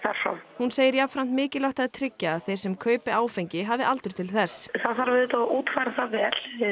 hún segir jafnframt mikilvægt að tryggja að þeir sem kaupi áfengi hafi aldur til þess það þarf auðvitað að útfæra það vel